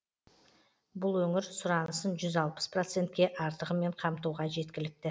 бұл өңір сұранысын жүз алпыс процентке артығымен қамтуға жеткілікті